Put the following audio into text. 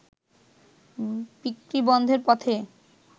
বিক্রি বন্ধের পথে